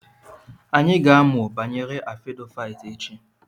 Anyị ga-amụ banyere Afodaịt echi.